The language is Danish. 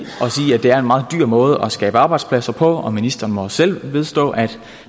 det er en meget dyr måde at skabe arbejdspladser på og ministeren må selv vedstå at